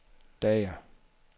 lager